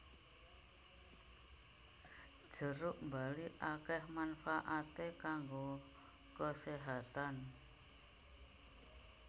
Jeruk bali akèh manfaaté kanggo keséhatan